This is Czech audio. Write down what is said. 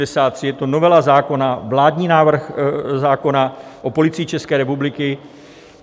Je to novela zákona, vládní návrh zákona o Policii České republiky.